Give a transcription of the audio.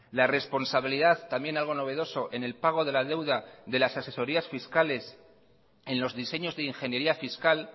la responsabilidad también algo novedoso en el pago de la deuda de las asesorías fiscales en los diseños de ingeniería fiscal